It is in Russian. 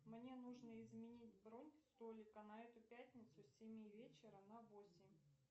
мне нужно изменить бронь столика на эту пятницу с семи вечера на восемь